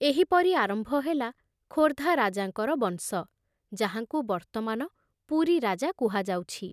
ଏହିପରି ଆରମ୍ଭ ହେଲା ଖୋର୍ଦ୍ଧା ରାଜାଙ୍କର ବଂଶ, ଯାହାଙ୍କୁ ବର୍ତ୍ତମାନ ପୁରୀ ରାଜା କୁହାଯାଉଛି।